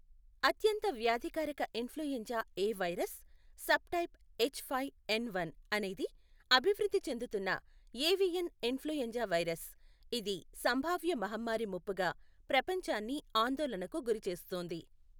అత్యంత వ్యాధికారక influenza A virus subtype H five N one అనేది అభివృద్ధి చెందుతున్న ఏవియన్ ఇన్ఫ్లుఎంజా వైరస్, ఇది సంభావ్య మహమ్మారి ముప్పుగా ప్రపంచాన్ని ఆందోళనకు గురిచేస్తోంది.